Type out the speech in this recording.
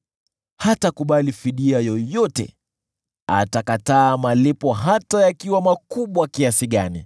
Hatakubali fidia yoyote; atakataa malipo, hata yakiwa makubwa kiasi gani.